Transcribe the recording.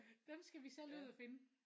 Dem skal vi selv ud at finde